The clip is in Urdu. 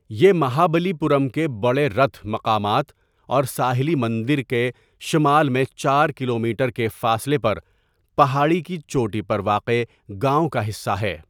یہ مہابلی پورم کے بڑے رتھ مقامات اور ساحلی مندر کے شمال میں چار کلومیٹر کے فاصلے پر پہاڑی کی چوٹی پر واقع گاؤں کا حصہ ہے۔